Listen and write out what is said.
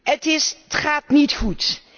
Het gaat niet goed.